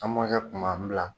An mɔkɛ kun m'an bila